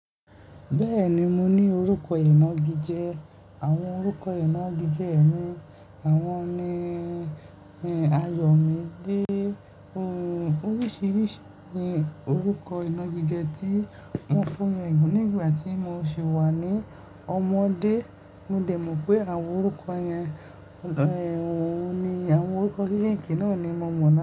Bẹ́ẹ̀ni, mo ní orúkọ ìnagijẹ. Àwọn orúkọ ìnagijẹ mi, àwọn ni, ayọ̀midé oríṣiríṣi ni orúkọ ìnagijẹ tí wọ́n fún wọn nígbà tí mo sì wà ní ọmọdé. Mo dẹ̀ mọ̀ pé àwọn orúkọ yẹn, àwọn orúkọ kékèké náà ni mo mọ̀ ọ́n.